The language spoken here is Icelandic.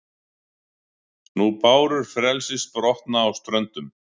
nú bárur frelsis brotna á ströndum